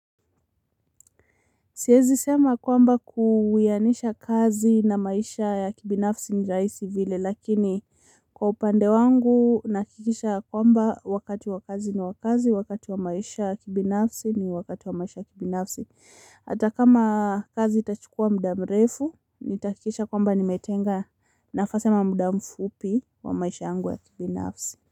Siwezi sema kwamba kuwianisha kazi na maisha ya kibinafsi ni rahisi vile lakini kwa upande wangu nahakikisha kwamba wakati wa kazi ni wa kazi, wakati wa maisha ya kibinafsi ni wakati wa maisha ya kibinafsi. Hata kama kazi itachukua muda mrefu, nitahakikisha kwamba nimetenga nafasi ama muda mfupi wa maisha yangu ya kibinafsi.